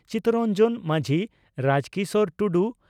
Chittaranjan Majhi Rajkishor Tudu